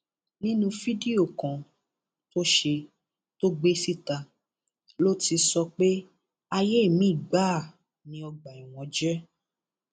nínú fídíò kan tó ṣe tó gbé síta ló ti sọ pé ayé mìín gbáà ni ọgbà ẹwọn jẹ